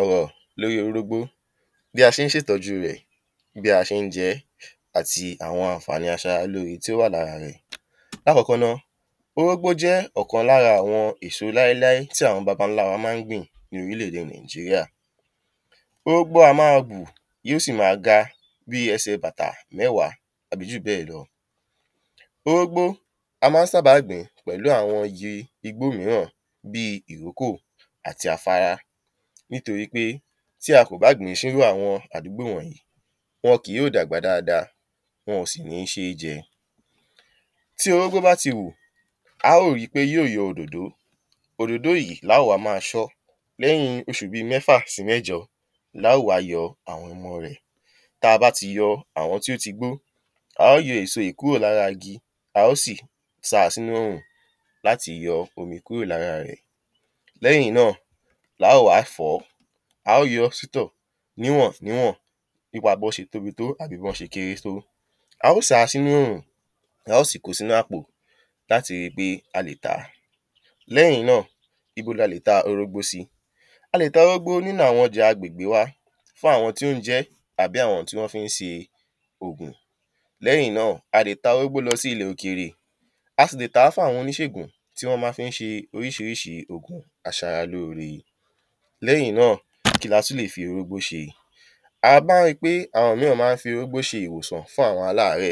ọ̀rọ̀ lóri orógbó, bí a sé n se ìtọ́jú rẹ̀ ati bí a se ń jẹ́, àti awọn ànfàání aṣáralóre tí o wà làra rẹ̀. Lákọkọ́ náa orógbó jẹ́ ọ̀kan lára awọn esó láilái tí awọn baba ńlá wa má n gbìn lórílẹ̀ èdè Nàíjírià. Orógbó a má bù yíò si ma gá bí ẹsẹ̀ bàtà mẹ́wà tàbi ju ̀bẹ lọ́ orógbó a má n sábà gbìn pẹ̀lú awọn igi igbó mìíràn bí ìróko àti àfárá ní torí wí pe tí a kò ba gbìn ṣíwájú awọn àdúgbò wọnyìí wọn kì yó dàgbà dáàdáà wọn sì ni ṣé jẹ. Tí orógbó bá ti hù a o ri pe yó yọ òdòdó, òdòdó yì lá má ṣọ́ lẹ́hìn oṣù bí mẹ́fà si mẹ́jọ lá o wa yọ awọn ọmọ rẹ̀ Tá ba tí yọ awọn tí o tí gbó, a o yọ́ esó yí kúrò lára igi, a o sí sa sínú orùn láti yọ omi kúrò lára rẹ̀. Lẹ́hìn ná la o wa fọ̀ó, a o yọ sọ́tò níwọn níwọn Nípa bo ṣe tóbi tó ábi bọ́ ṣe kéré to, a o sa sínú orùn, a o sí kóò sínú àpò láti rí pe a lè tàá. lẹ́hìn náa ibo la lè tá orógbó si a lè tá orógbó nínú awọn ọjà agbègbè wa fún awọn tí on jẹ́, abi awọn tí wọn fí n se ògùn. lẹ́hìn náa a lè tá orógbó lọ́ sí ilẹ̀ òkèrè,a sì le tàá fún awọn oníṣegùn tí wọn má fí n ṣẹ oríṣiríṣi ògùn aṣáralóre lẹ́hìn náa, kí la tún lè fi orógbó ṣe? a má rí pe awọn mìíràn má n fí orógbó ṣe ìwòsàn fún awọn aláàrẹ.